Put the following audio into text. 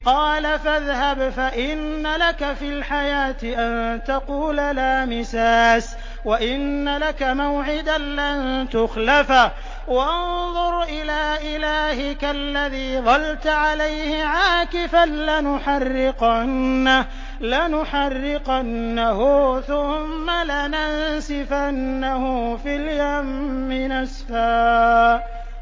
قَالَ فَاذْهَبْ فَإِنَّ لَكَ فِي الْحَيَاةِ أَن تَقُولَ لَا مِسَاسَ ۖ وَإِنَّ لَكَ مَوْعِدًا لَّن تُخْلَفَهُ ۖ وَانظُرْ إِلَىٰ إِلَٰهِكَ الَّذِي ظَلْتَ عَلَيْهِ عَاكِفًا ۖ لَّنُحَرِّقَنَّهُ ثُمَّ لَنَنسِفَنَّهُ فِي الْيَمِّ نَسْفًا